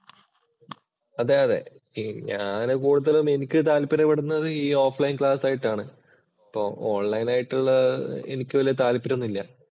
അതെ അതെ, ഞാൻ കൂടുതലും എനിക്ക് താല്പര്യപ്പെടുന്നത് ഈ ഓഫ് ലൈന്‍ ക്ലാസ്സ്‌ ആയിട്ടാണ്. ഈ ഓണ്‍ലൈന്‍ ആയിട്ടുള്ള എനിക്ക് വലിയ താല്പര്യം ഒന്നുമില്ല.